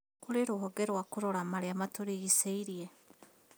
Kũrĩ rũhonge rwa kũrora marĩa matũrigicĩirie